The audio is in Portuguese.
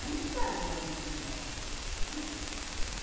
Mas não sabe por dentro como tá, né?